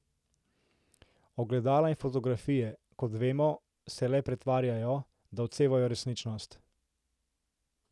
Ogledala in fotografije, kot vemo, se le pretvarjajo, da odsevajo resničnost.